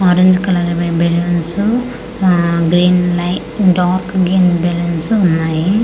Orange colour balloons ఆ green ఉన్నాయి dark green balloons ఉన్నాయి.